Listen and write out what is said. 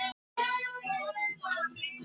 Kennaraskólanum, og fór að hlaða niður börnum.